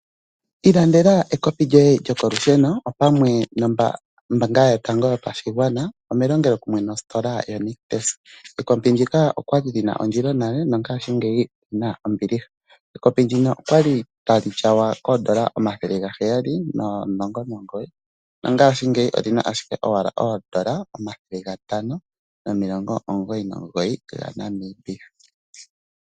Ilandela ekopi lyoye lyokolusheno opamwe nombaanga yoye yotango yopashigwana melongelokumwe nositola yoNictus. Ekopi ndika okwali li na ondilo nale ihe mongaashingeyi olyina ombiliha. Ekopi ndino okwali tali tyawa koondola dhaNamibia N$ 719.00 nomongaashingeyi olyina owala oondola dhaNamibia N$599.00.